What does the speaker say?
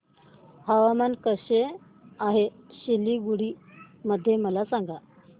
हवामान कसे आहे सिलीगुडी मध्ये मला सांगा